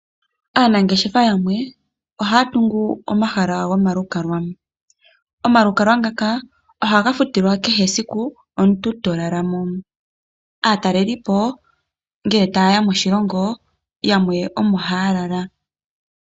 Aanangeshefa yamwe ohaya tungu omahala gomalukalwa, omalukalwa ngaka ohaga futilwa kehesiku omuntu tolala mo. Aataleli po ngele tayeya moshilongo yamwe omo haya lala.